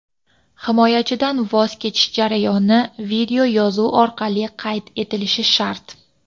Himoyachidan voz kechish jarayoni videoyozuv orqali qayd etilishi shart.